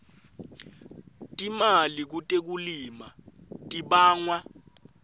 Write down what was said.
timali kutekulima libangwa